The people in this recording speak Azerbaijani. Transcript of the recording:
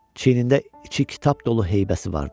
Çiyinində içi kitab dolu heybəsi vardı.